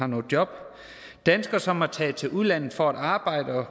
noget job danskere som er taget til udlandet for at arbejde og